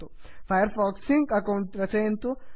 fire fox sync account रचयन्तु